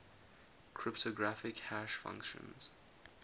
cryptographic hash functions